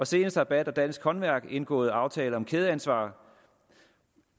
senest har bat og dansk håndværk indgået aftale om kædeansvar